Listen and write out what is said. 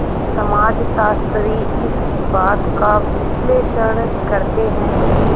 समाजशास्त्री इस बात का विश्लेषण करते हैं कि